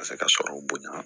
Ka se ka sɔrɔ bonya